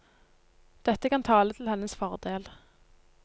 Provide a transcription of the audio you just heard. Dette kan tale til hennes fordel.